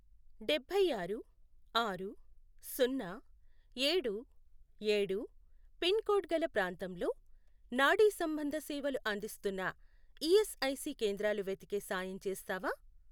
డభైఆరు, ఆరు, సున్నా, ఏడు, ఏడు, పిన్ కోడ్ గల ప్రాంతంలో నాడీసంబంధ సేవలు అందిస్తున్న ఈఎస్ఐసి కేంద్రాలు వెతికే సాయం చేస్తావా?